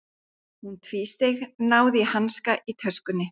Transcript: Hún tvísteig, náði í hanska í töskunni.